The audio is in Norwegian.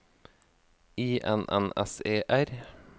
I N N S E R